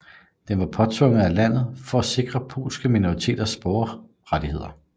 Den var påtvunget landet for at sikre polske minoriteters borgerrettigheder